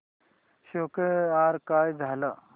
score काय झाला